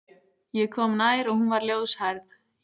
Ég kom nær og hún var ljóshærð.